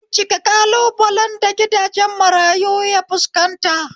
Bincika ƙalubalen da gidajen marayu ya fuskanta